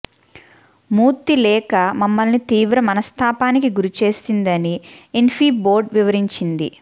మూర్తి లేఖ మమ్మల్ని తీవ్ర మనస్తాపానికి గురి చేసిందని ఇన్ఫీ బోర్డు వివరించింది